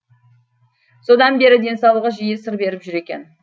содан бері денсаулығы жиі сыр беріп жүр екен